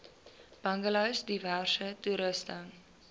bungalows diverse toerusting